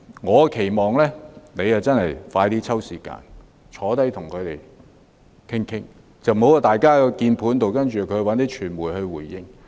我期望局長盡快抽時間與他們商談，而不要透過鍵盤溝通或傳媒來回應。